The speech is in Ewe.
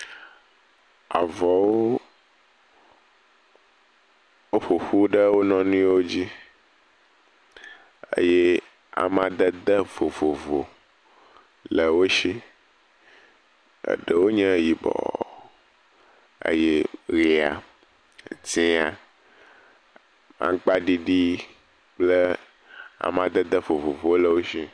Avɔwo woƒoƒu ɖe wo nɔnɔewo dzi eye amadede vovovo le wo si. Eɖewo nye yibɔ eye ʋia, dzea, agbaɖiɖi kple amdadede vovovowo le wo si.